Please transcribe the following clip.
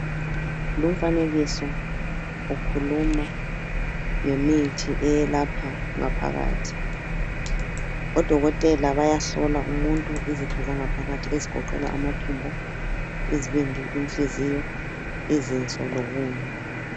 Lumfanekiso ukhuluma ngemithi eyelapha ngaphakathi. Odokotela bayahlola umuntu izitho zangaphakathi ezigoqela amathumbu , izibindi, inhliziyo, izinso lokunye